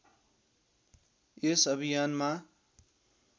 यस अभियानमा